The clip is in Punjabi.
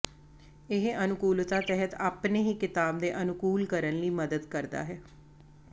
ਇਹ ਅਨੁਕੂਲਤਾ ਤਹਿਤ ਆਪਣੇ ਹੀ ਿਕਤਾਬ ਦੇ ਅਨੁਕੂਲ ਕਰਨ ਲਈ ਮਦਦ ਕਰਦਾ ਹੈ